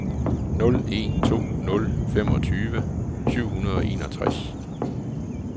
nul en to nul femogtyve syv hundrede og enogtres